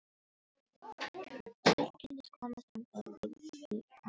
Tilkynnið komu þangað og bíðið fyrirmæla.